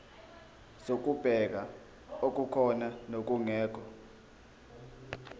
zokubheka okukhona nokungekho